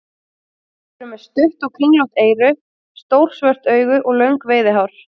Þeir eru með stutt og kringlótt eyru, stór svört augu og löng veiðihár.